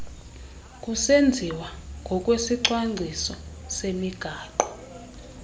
kusenziwa ngokwesicwangciso semigaqo